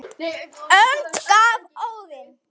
önd gaf Óðinn